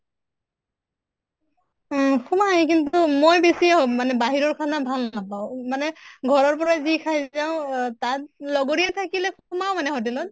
উম সোমায় কিন্তু মই বেছি অ মানে বাহিৰৰ খানা ভাল নাপাওঁ, মানে ঘৰৰ পৰা যি খাই যাওঁ অহ তাত লগৰীয়া থাকিলে সোমাও মানে hotel ত।